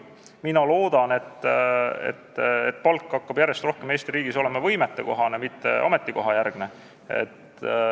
Mina loodan, et palk hakkab Eesti riigis järjest rohkem olema võimetekohane, mitte ametikohajärgne.